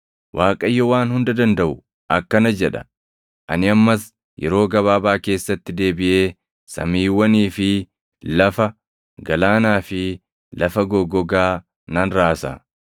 “ Waaqayyo Waan Hunda Dandaʼu akkana jedha: ‘Ani ammas yeroo gabaabaa keessatti deebiʼee samiiwwanii fi lafa, galaanaa fi lafa goggogaa nan raasa.